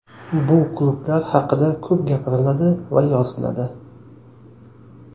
Bu klublar haqida ko‘p gapiriladi va yoziladi.